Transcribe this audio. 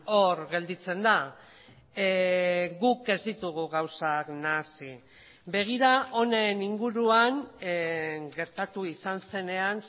hor gelditzen da guk ez ditugu gauzak nahasi begira honen inguruan gertatu izan zenean